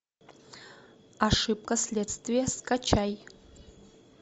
ошибка следствия скачай